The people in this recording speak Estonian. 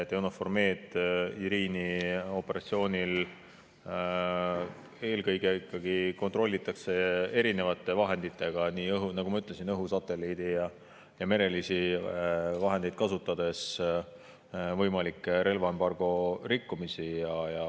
EUNAVFOR Med/Irini operatsioonil kontrollitakse ikkagi eelkõige erinevate vahenditega, nagu ma ütlesin, õhu‑, satelliidi‑ ja merelisi kasutades relvaembargo võimalikke rikkumisi.